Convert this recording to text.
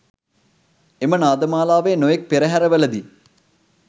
එම නාද මාලාව නොයෙක් පෙරහැරවලදී